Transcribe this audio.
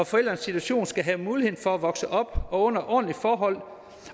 forældrenes situation skal have mulighed for at vokse op under ordentlige forhold